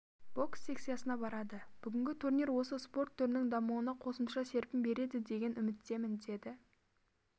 бокс секциясына барады бүгінгі турнир осы спорт түрінің дамуына қосымша серпін береді деген үміттемін деді